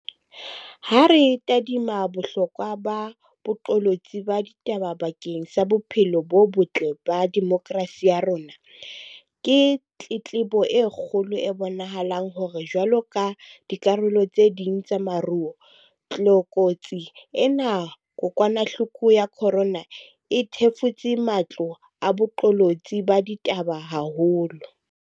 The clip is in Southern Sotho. Ha re tadima bohlokwa ba boqolotsi ba ditaba bakeng sa bophelo bo botle ba demokrasi ya rona, ke tletlebo e kgolo e bonahalang hore jwaloka dikarolo tse ding tsa moruo, tlokotsi ena ya kokwanahloko ya corona e thefutse matlo a boqolotsi ba ditaba haholo.